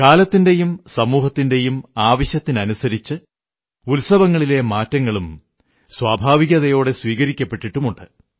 കാലത്തിന്റെയും സമൂഹത്തിന്റെയും ആവശ്യത്തിനനുസരിച്ച് ഉത്സവങ്ങളിലെ മാറ്റങ്ങളും സ്വാഭാവികതയോടെ സ്വീകരിക്കപ്പെട്ടിട്ടുണ്ട്